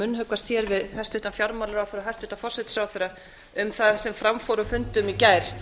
munnhöggvast hér við hæstvirtan fjármálaráðherra og hæstvirtur forsætisráðherra um það sem fram fór á fundum í gær